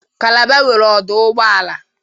Kalaba nwere ọdụ ụgboala